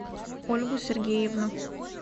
ольгу сергеевну